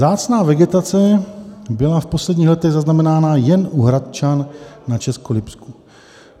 Vzácná vegetace byla v posledních letech zaznamenána jen u Hradčan na Českolipsku.